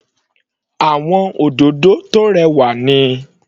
Àwọn òdòdó tó rẹwà ni.